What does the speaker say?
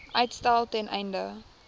uitstel ten einde